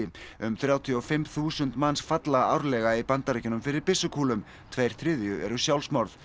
um þrjátíu og fimm þúsund manns falla árlega í Bandaríkjunum fyrir byssukúlum tveir þriðju eru sjálfsmorð